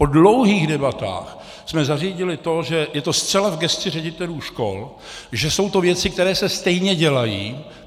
Po dlouhých debatách jsme zařídili to, že je to zcela v gesci ředitelů škol, že jsou to věci, které se stejně dělají.